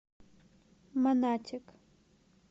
монатик